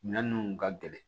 Minɛn ninnu ka gɛlɛn